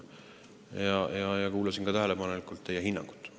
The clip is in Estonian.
Aga ma kuulasin tähelepanelikult teie hinnangut.